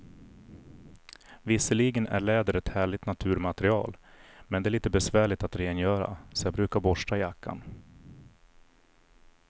Visserligen är läder ett härligt naturmaterial, men det är lite besvärligt att rengöra, så jag brukar borsta jackan.